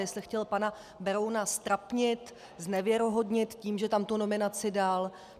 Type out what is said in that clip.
Jestli chtěl pana Berouna ztrapnit, znevěrohodnit tím, že tam tu nominaci dal.